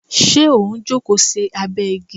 Ṣé o n jókòó sí abẹ igi?